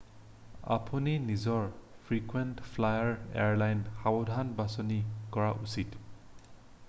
আপুনি নিজৰ frequent flyer airline সাৱধানে বাচনি কৰা উচিত